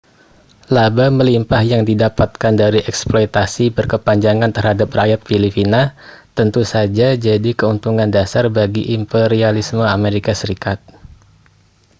laba melimpah yang didapatkan dari eksploitasi berkepanjangan terhadap rakyat filipina tentu saja jadi keuntungan dasar bagi imperialisme as